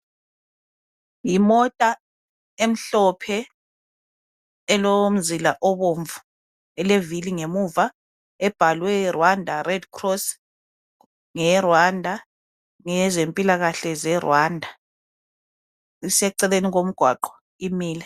Yimota emhlophe elomzila obomvu elevili ngemuva ebhalwe Rwanda Red Cross. NgeyeRwanda. Ngeyezempilakahle zeRwanda. Iseceleni komgwaqo. Imile.